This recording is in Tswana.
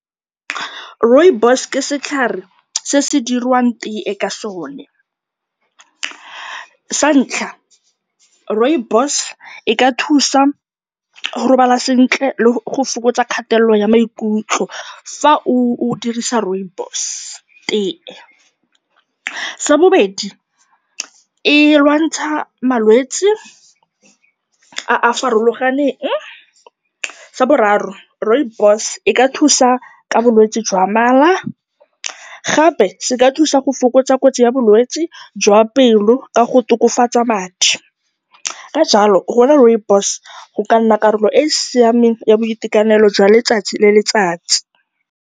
Rooibos ke setlhare se go dirwang teye ka sone. Sa ntlha, rooibos e ka thusa go robala sentle le go fokotsa kgatelelo ya maikutlo, fa o dirisa rooibos tea. Sa bobedi, e lwantsha malwetsi a a farologaneng. Sa boraro, rooibos e ka thusa ka bolwetse jwa mala, gape se ka thusa go fokotsa kotsi ya bolwetsi jwa pelo, ka go tokafatsa madi. Ka jalo, go nwa rooibos go ka nna karolo e e siameng ya boitekanelo jwa letsatsi le letsatsi.